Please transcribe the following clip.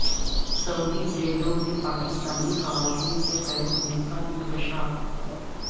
سعودی جیلوں میں پاکستانی خواتین کے قید ہونے کا انکشاف